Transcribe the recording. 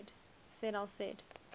said al said